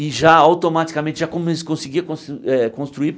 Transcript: E já, automaticamente, já comen conseguia cons eh construir.